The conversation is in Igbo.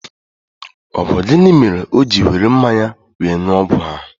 Ọ bụ gịnị mere o jị were mmanya wéé ṅụọ ọgwụ ahụ?